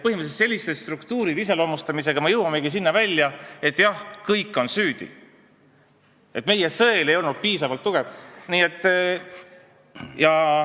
Selliste struktuuride iseloomustamisega me põhimõtteliselt jõuamegi välja sinna, et jah, kõik on süüdi, et meie sõel ei olnud piisavalt tugev.